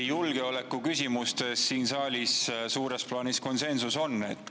Julgeoleku küsimustes siin saalis suures plaanis kindlasti on konsensus.